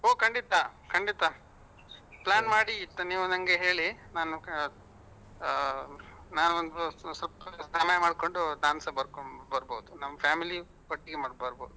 ಒಹ್ ಖಂಡಿತ ಖಂಡಿತ plan ಮಾಡಿ ಆಯ್ತಾ ನೀವು ನಂಗೆ ಹೇಳಿ ನಾನು ಅಹ್ ನಾನು ಸ್ವಲ್ಪ ಸಮಯ ಮಾಡ್ಕೊಂಡು ನನ್ಸ ಬರ್ಕೊಂಡ್ ಬರ್ಬಹುದು ನಮ್ family ಒಟ್ಟಿಗೆ ಬರ್ಬಹುದು.